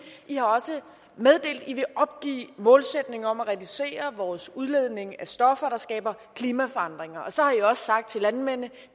i har også meddelt at i vil opgive målsætningen om at reducere vores udledning af stoffer der skaber klimaforandringer og så har i også sagt til landmændene at